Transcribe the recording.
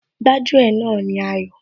Gbájú ẹ̀ náà ni Ayọ̀